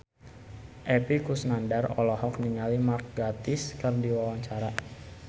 Epy Kusnandar olohok ningali Mark Gatiss keur diwawancara